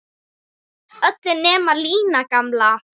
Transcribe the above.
Öll nema Lína gamla.